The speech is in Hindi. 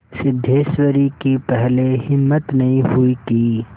सिद्धेश्वरी की पहले हिम्मत नहीं हुई कि